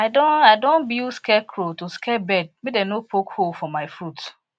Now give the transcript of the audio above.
i don i don build scarecrow to scare bird make dem no poke hole for my fruit